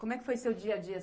Como é que foi seu dia a dia